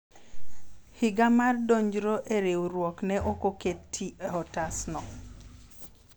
higa mar donjro e riwruok ne ok oketi e otasno